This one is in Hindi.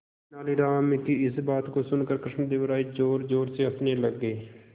तेनालीराम की इस बात को सुनकर कृष्णदेव राय जोरजोर से हंसने लगे